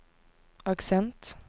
aksent